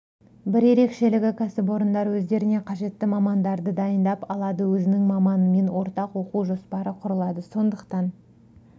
бір ерекшелігі кәсіпорындар өздеріне қажетті мамандарды дайындап алады өзінің маманымен ортақ оқу жоспары құрылады сондықтан